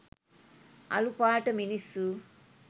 අලු පාට මිනිස්සු